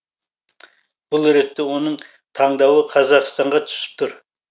бұл ретте оның таңдауы қазақстанға түсіп тұр